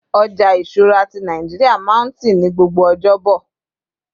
ọja ìṣura ti Naijiria ma n ti ní gbogbo ọjọbo